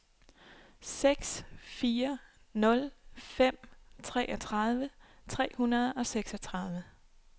seks fire nul fem treogtredive tre hundrede og seksogtredive